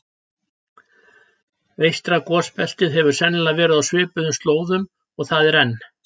Eystra gosbeltið hefur sennilega verið á svipuðum slóðum og það er enn.